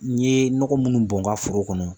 N ye nɔgɔ minnu bɔn n ka foro kɔnɔ